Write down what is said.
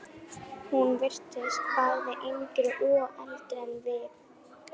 Hún virtist bæði yngri og eldri en við.